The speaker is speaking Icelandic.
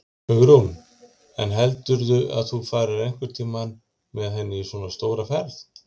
Hugrún: En heldurðu að þú farir einhvern tímann með henni í svona stóra ferð?